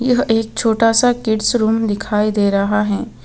यह एक छोटा सा किड्स रूम दिखाई दे रहा है.